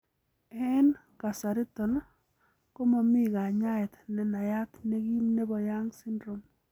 En kasariton, komomi konyaet nenayat negim nebo Young syndrome.